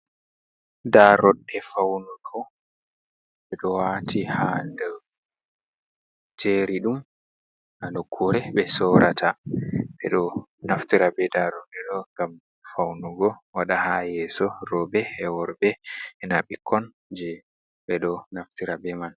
Nda daroɗɗe faunugo ɓe ɗo wati ha nder jeri ɗum ha nokkure ɓe sorata, ɓe ɗo naftira be daroɗɗe ɗo ngam faunugo waɗa ha yeso roɓe be worɓe ena ɓikkon je ɓe ɗo naftira be man.